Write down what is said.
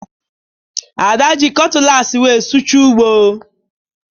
Ada ji kọtụlaasị wee sụchaa ugbo